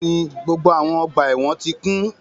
Bẹ́ẹ̀ni, gbogbo awọn ọgba ẹ́wọ̀n náà ti kun